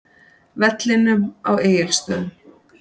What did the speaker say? vellinum á Egilsstöðum.